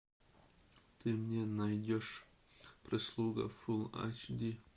ты мне найдешь прислуга фулл айч ди